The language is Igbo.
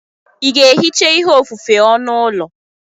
Ị ga-ehicha ihe ofufe onu ụlọ?